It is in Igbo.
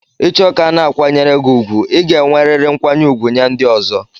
Icho ka a na-akwanyere gị ùgwù, ị ga-enwerịrị nkwanye ùgwù nye ndi ozo.